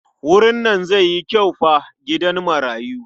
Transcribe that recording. Wurin nan zai yi kyau fa gidan marayu.